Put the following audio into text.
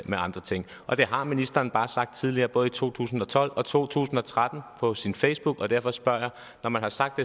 med andre ting og det har ministeren bare sagt tidligere både i to tusind og tolv og to tusind og tretten på sin facebook og derfor spørger jeg når man har sagt